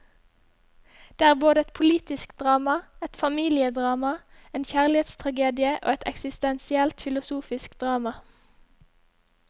Det er både et politisk drama, et familiedrama, en kjærlighetstragedie og et eksistensielt filosofisk drama.